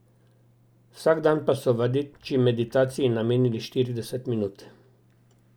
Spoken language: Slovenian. Vsak dan pa so vadeči meditaciji namenili štirideset minut.